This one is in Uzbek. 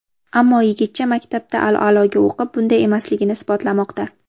Ammo yigitcha maktabda a’loga o‘qib, bunday emasligini isbotlamoqda.